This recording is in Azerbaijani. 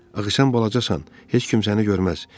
Axı sən balacasan, heç kim səni görməz.